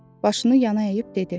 Başını yana əyib dedi: